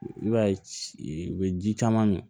I b'a ye u bɛ ji caman min